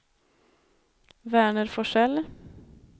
Verner Forsell